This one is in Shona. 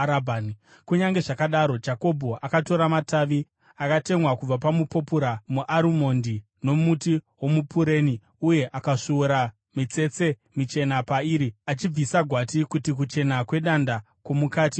Kunyange zvakadaro, Jakobho akatora matavi akatemwa kubva pamupopura, muarimondi nomuti womupureni uye akasvuura mitsetse michena pairi achibvisa gwati kuti kuchena kwedanda kwomukati kuonekwe.